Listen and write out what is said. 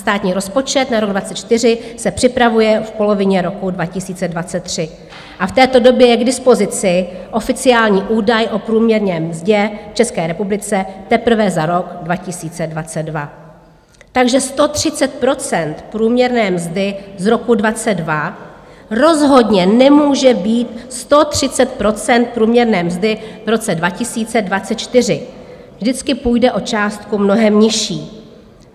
Státní rozpočet na rok 2024 se připravuje v polovině roku 2023 a v této době je k dispozici oficiální údaj o průměrné mzdě v České republice teprve za rok 2022, takže 130 % průměrné mzdy z roku 2022 rozhodně nemůže být 130 % průměrné mzdy v roce 2024, vždycky půjde o částku mnohem nižší.